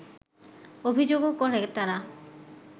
অভিযোগও করে তারা